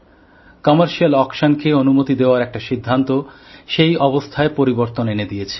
বাণিজ্যিক নিলামকে অনুমতি দেবার একটা সিদ্ধান্ত সেই অবস্থায় পরিবর্তন এনে দিয়েছে